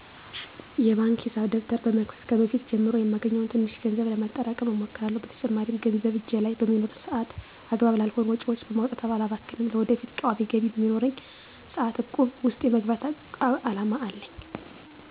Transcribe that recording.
የባንክ ሂሳብ ደብተር በመክፈት ከበፊት ጀምሮ የማገኘውን ትንሽ ገንዘብ ለማጠራቀም እሞክራለሁ። በተጨማሪም ገንዘብ እጄ ላይ በሚኖር ሰአት አግባብ ላልሆኑ ወጪዎች በማውጣት አላባክንም። ለወደፊቱ ቋሚ ገቢ በሚኖረኝም ሰአት እቁብ ውስጥ የመግባት አላማ አለኝ።